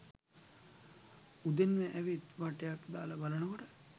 උදෙන්ම ඇවිත් වටයක් දාල බලනකොට